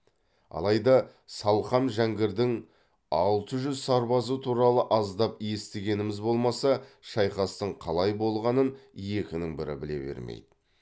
алайда салқам жәңгірдің алты жүз сарбазы туралы аздап естігеніміз болмаса шайқастың қалай болғанын екінің бірі біле бермейді